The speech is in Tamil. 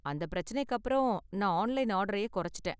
அந்த பிரச்சனைக்கு அப்பறம் நான் ஆன்லைன் ஆர்டரயே குறைச்சுட்டேன்.